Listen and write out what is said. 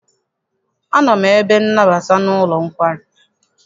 Anọ m n'ebe nnabata n'ụlọ nkwari.